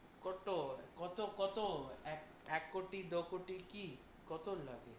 কত? কত কত? এক এক কোটি দো কোটি, কী কত লাগে?